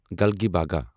گلگیباگا